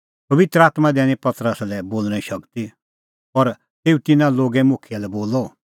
पबित्र आत्मां दैनी पतरसा लै बोल़णें शगती और तेऊ तिन्नां लोगे मुखियै लै बोलअ